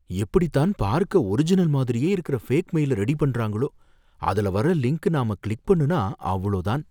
எப்படித்தான் பார்க்க ஒரிஜினல் மாதிரியே இருக்குற ஃபேக் மெயில ரெடி பண்றாங்களோ, அதுல வர்ற லிங்க் நாம கிளிக் பண்ணுனா அவ்ளோ தான்